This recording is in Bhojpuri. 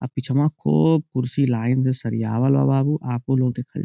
अ पिछवा को कुर्सी लाइन से सरियावल बा बाबू आपह लोग देखअ --